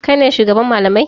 Kai ne shugaban malamai?